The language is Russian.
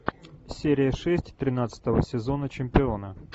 серия шесть тринадцатого сезона чемпионы